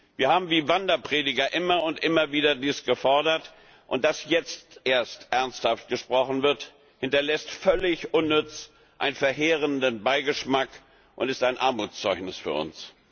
Wir haben wie Wanderprediger dies immer und immer wieder gefordert. Dass jetzt erst ernsthaft gesprochen wird, hinterlässt völlig unnütz einen verheerenden Beigeschmack und ist ein Armutszeugnis für uns.